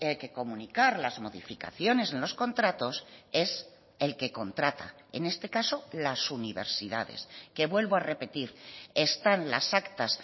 que comunicar las modificaciones en los contratos es el que contrata en este caso las universidades que vuelvo a repetir están las actas